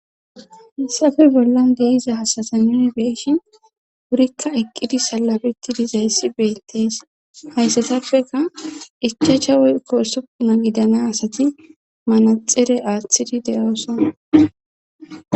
Hayassafe bollan de'izaysa nu be'shin wurikka eqqidi salabetti dizayssi beettees hayssatappeka ichacha woy kosupuma gidana asati manaxire aaththidi de7ooson